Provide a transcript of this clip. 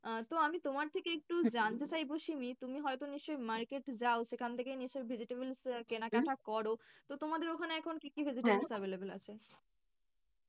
আহ তো আমি তোমার থেকে একটু জানতে চাইবো শিমি তুমি হয়তো নিশ্চয়ই market যাও সেখান থেকে নিশ্চয়ই vegetable কেনাকাটা করো, তো তোমাদের ওখানে এখন কি কি available আছে,